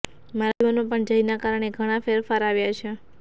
મારા જીવનમાં પણ જયના કારણે ઘણા ફેરફાર આવ્યા છે